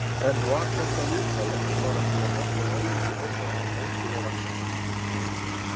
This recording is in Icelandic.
En var þetta viðtal ekki bara til að hjálpa Lárusi Orra að mótivera liðið?